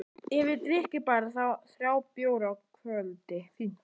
Ef ég drykki bara þrjá bjóra á kvöldi, fínt!